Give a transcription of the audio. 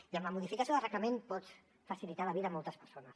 i amb la modificació del reglament pots facilitar la vida a moltes persones